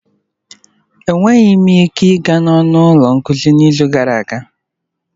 Enweghị m ike ịga n'ọnụ ụlọ nkuzi n'izu gara aga